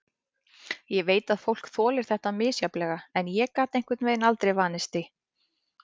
Ég veit að fólk þolir þetta misjafnlega en ég gat einhvern veginn aldrei vanist því.